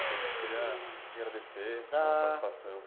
A gente queria agradecer a sua participação.